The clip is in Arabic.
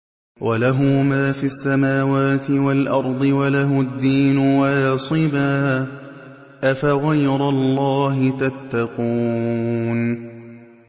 وَلَهُ مَا فِي السَّمَاوَاتِ وَالْأَرْضِ وَلَهُ الدِّينُ وَاصِبًا ۚ أَفَغَيْرَ اللَّهِ تَتَّقُونَ